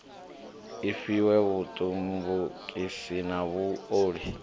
i fhiwe vhutumbukisi na vhuoli